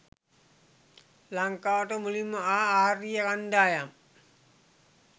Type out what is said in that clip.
ලංකාවට මුලින්ම ආ ආර්ය කණ්ඩායම්